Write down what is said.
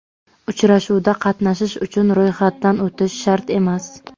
Uchrashuvda qatnashish uchun ro‘yxatdan o‘tish shart emas.